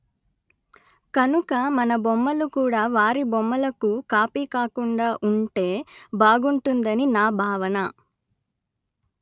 కనుక మన బొమ్మలు కూడా వారి బొమ్మలకు కాపీ కాకుండా ఉంటే బాగుంటుందని నా భావన